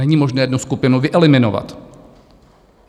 Není možné jednu skupinu vyeliminovat.